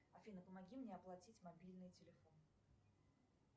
афина помоги мне оплатить мобильный телефон